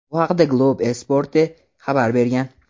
Bu haqda "Globo Esporte" xabar bergan.